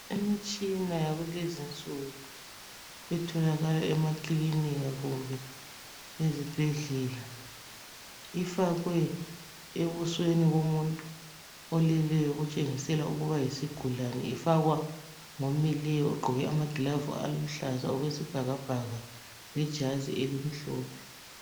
Imitshina yakulezi nsuku etholakala emakilinika kumbe ezibhedlela ifakwe ebusweni bomuntu, oleleyo otshengisela ukuba yisigulani ifakwa ngomileyo ogqoke amagilavu aluhlaza okwesi bhakabhaka lejazi elimhlophe.